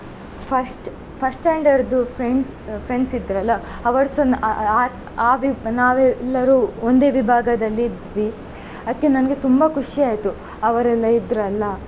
First first standard ಇದ್ದು friends friends ಇದ್ರಲ್ಲ ಅವರುಸ ಆ~ ಆ~ ವಿ~ ನಾವೆಲ್ಲರೂ ಒಂದೇ ವಿಭಾಗದಲ್ಲಿ ಇದ್ವಿ ಅದ್ಕೆ ನನಗೆ ತುಂಬಾ ಖುಷಿ ಆಯ್ತು ಅವರೆಲ್ಲ ಇದ್ರಲ್ಲ.